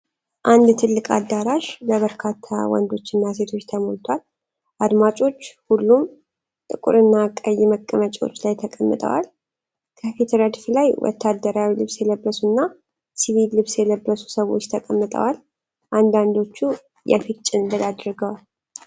አንድ ትልቅ አዳራሽ በበርካታ ወንዶችና ሴቶች ተሞልቶአል። አድማጮች ሁሉም ጥቁርና ቀይ መቀመጫዎች ላይ ተቀምጠዋል። ከፊት ረድፍ ላይ ወታደራዊ ልብስ የለበሱና ሲቪል ልብስ የለበሱ ሰዎች ተቀምጠዋል፤ አንዳንዶቹ የፊት ጭንብል አድርገዋል።